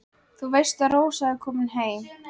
Þú veist að Rósa er komin heim.